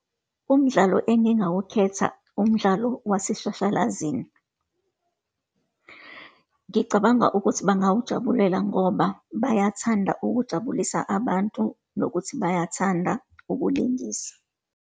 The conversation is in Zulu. Umdlalo engingawukhetha, umdlalo waseshashalazini. Ngicabanga ukuthi bangawujabulela ngoba bayathanda ukujabulisa abantu, nokuthi bayathanda ukulingisa.